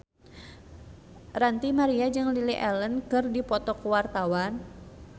Ranty Maria jeung Lily Allen keur dipoto ku wartawan